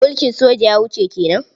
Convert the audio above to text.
Mulkin soja ya wuce ke nan.